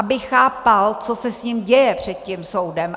Aby chápal, co se s ním děje před tím soudem.